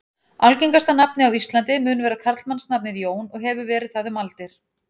Algengasta nafnið á Íslandi mun vera karlmannsnafnið Jón og hefur verið það um aldir.